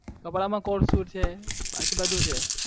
કપડા માં બાકી બધું છે